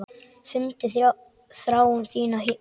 Fundið þrá þína hér.